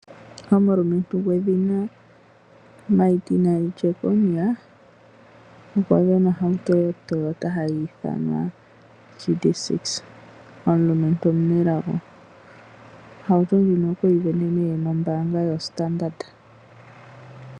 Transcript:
Omulumentu gwedhina Martin Jeckonia okwasindana ohauto o Toyota hayi thanwa GD-6 omulumentu omunelago, Ohauto ndjino kweyi sindana nee nombanga yo Standard.